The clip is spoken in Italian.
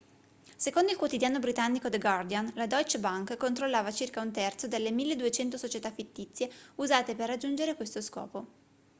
secondo il quotidiano britannico the guardian la deutsche bank controllava circa un terzo delle 1.200 società fittizie usate per raggiungere questo scopo